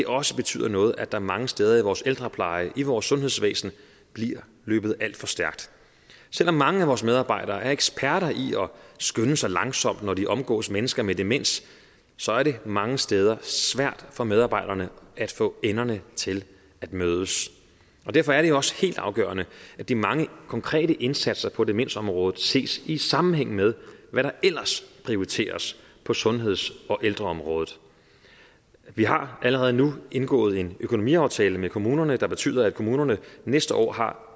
også betyder noget at der mange steder i vores ældrepleje og i vores sundhedsvæsen bliver løbet alt for stærkt selv om mange af vores medarbejdere er eksperter i at skynde sig langsomt når de omgås mennesker med demens så er det mange steder svært for medarbejderne at få enderne til at mødes derfor er det også helt afgørende at de mange konkrete indsatser på demensområdet ses i sammenhæng med hvad der ellers prioriteres på sundheds og ældreområdet vi har allerede nu indgået en økonomiaftale med kommunerne der betyder at kommunerne næste år har